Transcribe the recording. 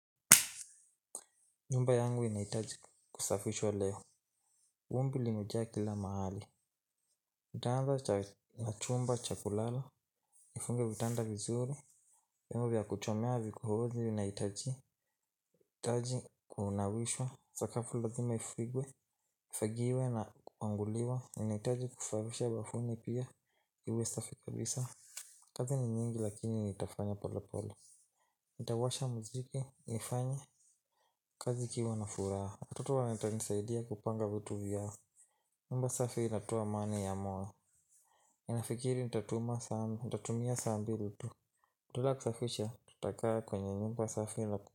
Nyumba yangu inahitaji kusafishwa leo. Vumbi limejaa kila mahali. Nitaanza na chumba cha kulala. Nifunge vitanda vizuri. Yemovia kuchomea vikuhozi. Nahitaji taji, kunawishwa sakafu lazima ifigwe ifagiwe na kupanguliwa. Ninaitaji kusafisha bafuni pia. Iwe safi kabisa. Kazi ni nyingi lakini nitafanya pole pole. Nitawasha muziki. Nifanye. Kazi ikiwa na furaha. Watoto wata nisaidia kupanga vitu vyao. Nyumba safi inatowa amani ya moyo. Nafikiri nitatumia sabuni tu ya kusafisha. Tutakaa kwenye nyumba safi ila.